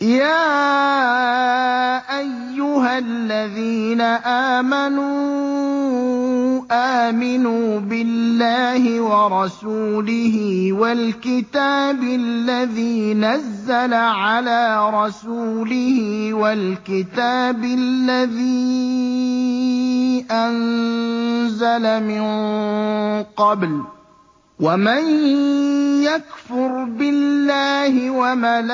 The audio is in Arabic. يَا أَيُّهَا الَّذِينَ آمَنُوا آمِنُوا بِاللَّهِ وَرَسُولِهِ وَالْكِتَابِ الَّذِي نَزَّلَ عَلَىٰ رَسُولِهِ وَالْكِتَابِ الَّذِي أَنزَلَ مِن قَبْلُ ۚ وَمَن يَكْفُرْ بِاللَّهِ وَمَلَائِكَتِهِ